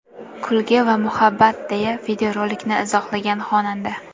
Kulgi va muhabbat”, deya videorolikni izohlagan xonanda.